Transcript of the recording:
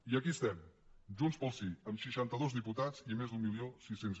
i aquí estem junts pel sí amb seixanta dos diputats i més d’mil sis cents